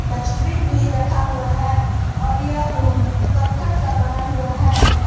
Dustbin भी रखा हुआ है और यह रूम करकट का बना हुआ है।